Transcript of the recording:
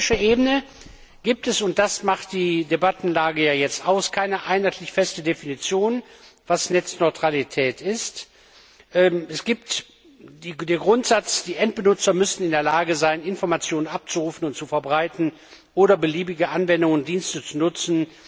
Auf europäischer Ebene gibt es und das macht die Debattenlage ja jetzt aus keine einheitlich feste Definition, was Netzneutralität ist. Es gilt der Grundsatz, die Endbenutzer müssten in der Lage sein, Informationen abzurufen und zu verbreiten oder beliebige Anwendungen und Dienste zu nutzen.